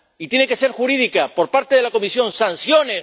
Y tiene que ser jurídica, por parte de la Comisión sanciones.